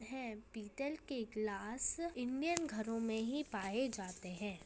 हैं पीतल के गिलास इंडियन घरों में ही पाए जाते हैं।